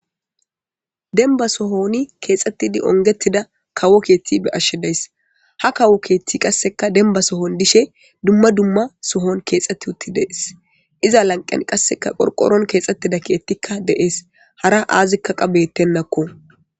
Dembba sohon keexeti kumida kawo keethi beyays. Ha kawo keeththi qasse dembba sohon dishe dumma dumma sohon dees. Iza lanqen qasseka qorqoron keexeti uttida keethi dees. Hara qasseka aazika deenako.